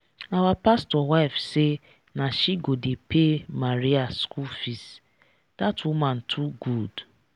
our pastor wife say na she go dey pay maria school fees that woman too good